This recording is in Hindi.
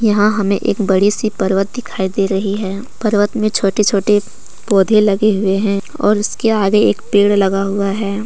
यहा हमें एक बड़ी सी पर्वत दिखाई दे रही है पर्वत में छोटी छोटी पौधे लगे हुए है और इसके आगे एक पेड़ लगा हुआ है।